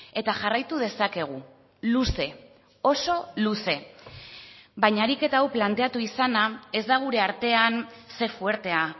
eta jarraitu dezakegu luze oso luze baina ariketa hau planteatu izana ez da gure artean ze fuertea